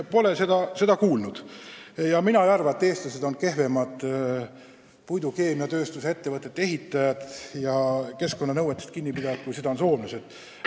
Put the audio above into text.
Ka ei arva ma, et eestlased on kehvemad puidukeemiatööstusettevõtete ehitajad ja keskkonnanõuetest kinni pidajad kui soomlased.